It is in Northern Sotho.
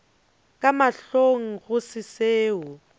ka mahlong go se seo